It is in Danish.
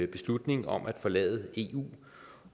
beslutning om at forlade eu